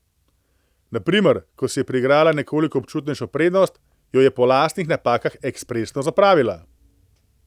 Na primer, ko si je priigrala nekoliko občutnejšo prednost, jo je po lastnih napakah ekspresno zapravila.